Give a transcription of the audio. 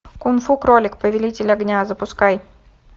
кун фу кролик повелитель огня запускай